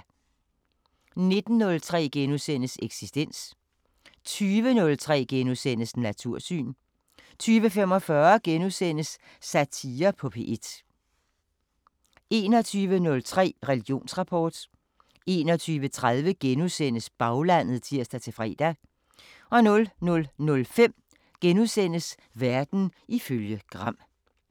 19:03: Eksistens * 20:03: Natursyn * 20:45: Satire på P1 * 21:03: Religionsrapport 21:30: Baglandet *(tir-fre) 00:05: Verden ifølge Gram *